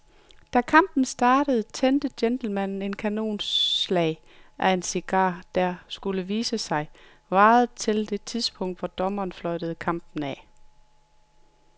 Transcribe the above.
Da kampen startede tændte gentlemanen et kanonslag af en cigar, der, skulle det vise sig, varede til det tidspunkt, hvor dommeren fløjtede kampen af.